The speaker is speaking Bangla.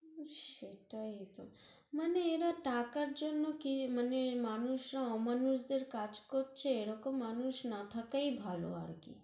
হুঁ, সেটাই তহ, মানে এরা টাকার জন্য়, মানে মানুষরা অমানুষদের কাজ করছে, এরকম মানুষ না থাকাই ভালো আরকি